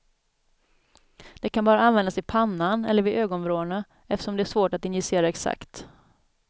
Det kan bara användas i pannan eller vid ögonvrårna eftersom det är svårt att injicera exakt.